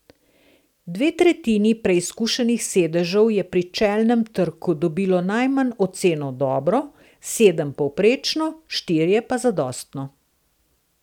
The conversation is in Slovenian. Dve tretjini preizkušenih sedežev je pri čelnem trku dobilo najmanj oceno dobro, sedem povprečno, štirje pa zadostno.